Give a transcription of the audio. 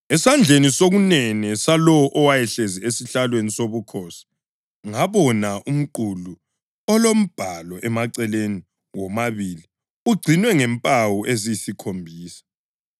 Esandleni sokunene salowo owayehlezi esihlalweni sobukhosi ngabona umqulu ulombhalo emaceleni womabili ungcinwe ngempawu eziyisikhombisa.